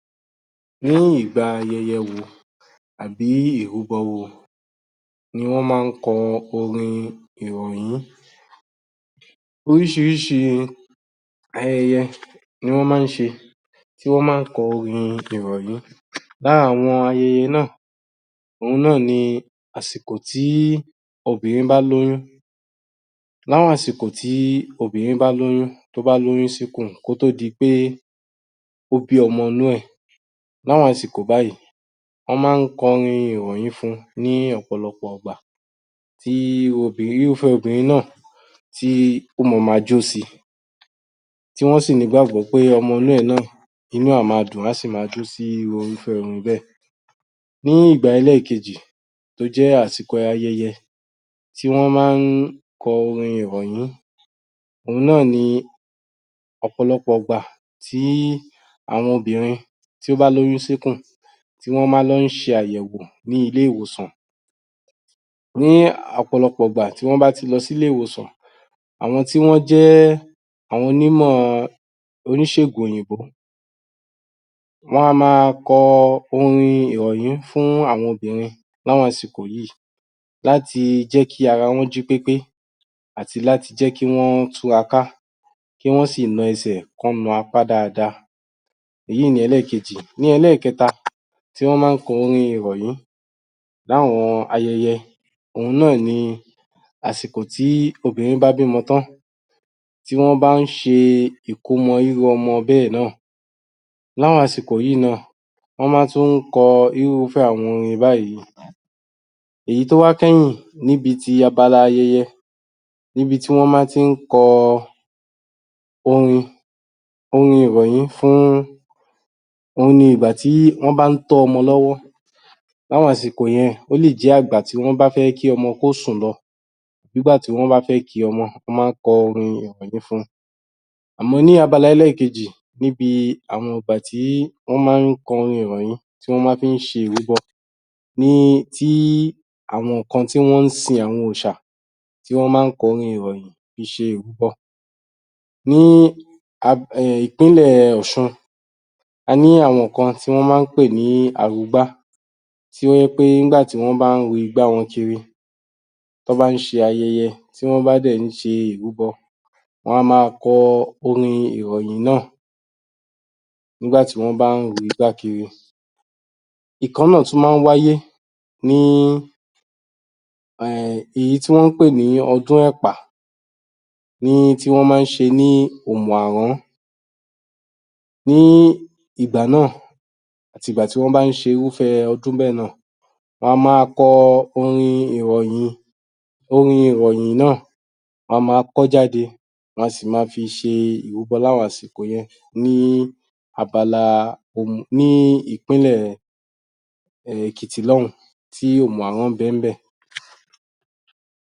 Nírú ìgbà ayẹyẹ wo tàbí ìrúbọ wo ni wọ́n má kọ orin ìrọ̀yún, orísírísí ayẹyẹ ni wọ́n má ń ṣe tí wọ́n má kọ orin ìrọ̀yún, lára àwọn ayẹyẹ náà òun náà ni àsìkò tí obìrin bá lóyún, láwọn àsìkò tí obìnrin bá lóyún, tó bá lóyún síkù, kó tó di pe ó bí ọmọ inú ẹ̀, láwọn àsìkò báyìí wọ́n má kọ orin ìrọ̀yín fún-un ní ọ̀pọ̀lọpọ̀ ìgbà tí obìrin irúfẹ́ obìrin náà ó ma ma jó si, tí wọ́n sì ní ìgbàgbọ́ pé ọmọ inú rẹ̀ náà ,inú rẹ̀ a ma dùn, á sì ma jó si irúfẹ́ orin bẹ́ẹ̀. Ní ìgbà ẹlẹ́ẹ̀kejì tó jẹ́ àsìkò ayẹyẹ tí wọ́n má ń kọ orin ìrọ̀yún, òun náà ni ọ̀pọ̀lọpọ̀ ìgbà tí àwọn obìrin tí má lóyún síkù tí wọ́n ma lọ ṣe àyẹ̀wò ní ilé ìwòsàn ní ọ̀pọ̀lọpọ̀ ìgbà tí wọ́n bá lọ sí ilé ìwòsàn, àwọn tí wọ́n àwọn onímọ̀ oníṣègùn òyìnbó wọ́n á máa kọ orin ìrọ̀yún fún àwọn obìrin láwọn àsìkò yí láti jẹ́ kí ara wọn jí pépé àti láti jé kí wọ́n túra ká, kí wọ́n sì na ẹsẹ̀ kí wọ́n na apá dáadáa, èyún n ni ẹlẹ́kejì. Ní ẹlẹ́kẹta tí wọ́n má kọ orin ìrọ̀yún láwọn ayẹyẹ òun náà ni àsìkò tí obìrin bá bímọ tán, tí wọ́n bá ṣẹ ìkómọ irú ọmọ bẹ́ẹ̀ náà láwọn àsìkò yìí náà wọ́n má tún kọ irúfẹ́ àwọn orin báyìí náà. Èyí tó wá kẹ́yìn lábala ayẹyẹ ní bi tí wọ́n má tí kọ orin ìrọ̀yún fún òun ni ìgbà tí wọ́n bá tọ́ ọmọ lọ́wọ́ láwọn àsìkò yẹn ó lè jẹ́ ìgbà tí wọ́n bá fẹ́ kí ọmọ kósùn lọ nígbà tí wọ́n bá fẹ́ ki ọmọ wọ́n má kọ orin ìrọ̀yùn fún. Àmọ́ ní bi abala ẹlẹ́kejì níbi àwọn ìgbà tí wọ́n ń má kọ orin ìrọ̀yún tí wọ́n má fí ṣẹ ìrúbọ ní tí àwọn kan tí wọ́n sin òrìsà tí wọ́n má kọrin ìrọ̀yún fi ṣe ìrúbọ, ní ìpínlẹ̀ ọ̀sun a ní àwọn kan tí wọ́n má pè, ní arugbá to jẹ́ pé nígbá wọ́n ru igbá wọn kiri tí wọ bá ṣe ayẹyẹ tí wọ́n bá dẹ̀ ṣe ìrúbọ wọ́n á ma kọ orin ìrọ̀yùn náà nígbà tí wọ́n bá ru igbá kiri. Ìkan náà tún má wáye ní ìyí tí wọ́n pè ní ọdún ọ̀pà tí wọ́ n má ṣe ní òmùàrán, ní ìgbà náa àti ìgbà tí wọ́n bá ń ṣe irúfẹ́ odún bẹ́ẹ̀ náà wọn má ń kọ orin ìrọ̀yún, orin ìrọ̀yìn náà a má kọ́ jáde a sì ma fi ṣe ìrùbọ lá àwọn àsíkò ìgbà yen ní abala, ní ìpínlẹ̀ Èkìtì lọ́ọ̀ún tí òmùàrán bẹ ní bẹ̀